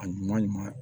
A ɲuman